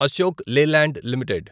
Ashok Leyland limited